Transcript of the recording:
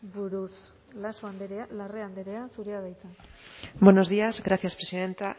buruz laso andrea larrea andrea zurea da hitza buenos días gracias presidenta